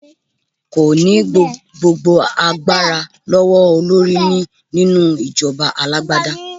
Kò ní gbogbo agbára lọ́wọ́ olórí ní nínú ìjọba alágbádá.